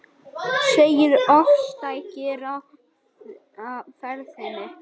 Segir ofstæki ráða ferðinni